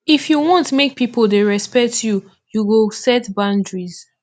if you wan make pipo dey respect you you go set boundaries